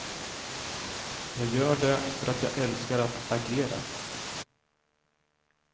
Jag gör det för att jag älskar att agera.